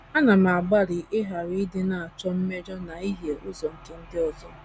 Ana m agbalị ịghara ịdị na - achọ mmejọ na ihie ụzọ nke ndị ọzọ.